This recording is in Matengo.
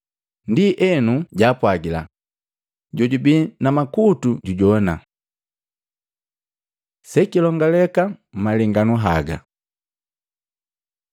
Ndienu jaapwagila, “Jojubii na makutu jujowana.” Sekilongaleka mmalenganu haga Matei 13:10-17; Luka 8:9, 10